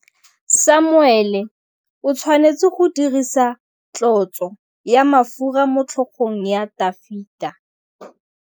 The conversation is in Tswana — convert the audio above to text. Samuele o tshwanetse go dirisa tlotsô ya mafura motlhôgong ya Dafita.